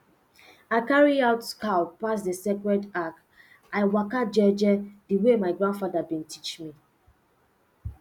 i carry out cow pass the sacred arch i waka jeje the way my grandfather been teach me